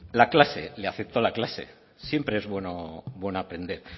la clase le afectó la clase siempre es bueno aprender